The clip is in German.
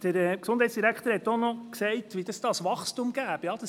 Der Gesundheitsdirektor hat auch gesagt, welches Wachstum es geben werde.